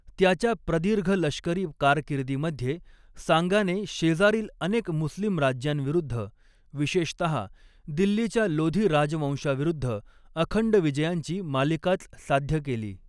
त्याच्या प्रदीर्घ लष्करी कारकिर्दीमध्ये सांगाने शेजारील अनेक मुस्लिम राज्यांविरुद्ध, विशेषतहा दिल्लीच्या लोधी राजवंशाविरुद्ध अखंड विजयांची मालिकाच साध्य केली.